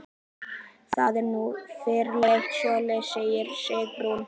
Það er nú yfirleitt svoleiðis, segir Sigrún.